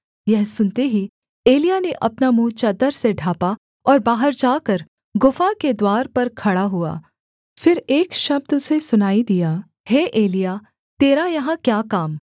यह सुनते ही एलिय्याह ने अपना मुँह चद्दर से ढाँपा और बाहर जाकर गुफा के द्वार पर खड़ा हुआ फिर एक शब्द उसे सुनाई दिया हे एलिय्याह तेरा यहाँ क्या काम